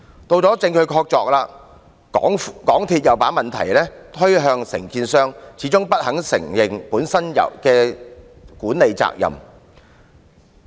到了證據確鑿的時候，港鐵公司又把問題推向承建商，始終不肯承認本身的管理責任。